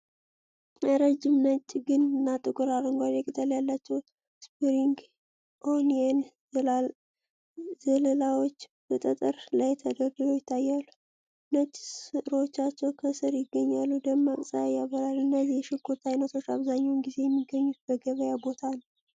ረጅም፣ ነጭ ግንድ እና ጥቁር አረንጓዴ ቅጠል ያላቸው ስፕሪንግ ኦኒየን ዘለላዎች በጠጠር ላይ ተደርድረው ይታያሉ። ነጭ ሥሮቻቸው ከሥር ይገኛሉ፤ ደማቅ ፀሐይ ያበራል። እነዚህ የ ሽንኩርት አይነቶች አብዛኛውን ጊዜ የሚገኙት በገበያ ቦታ ነው።